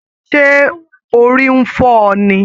Ṣé orí n fọ ọ ní?